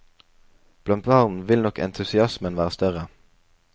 Blant barn vil nok entusiasmen være større.